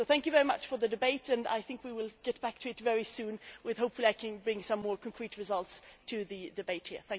So thank you very much for the debate. I think we will get back to it very soon, when hopefully I can bring some more concrete results to the debate here.